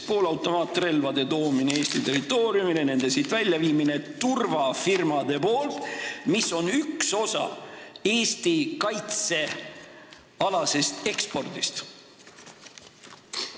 Poolautomaatrelvade toomine Eesti territooriumile ja nende siit väljaviimine turvafirmade poolt on Eesti kaitsealase ekspordi üks osa.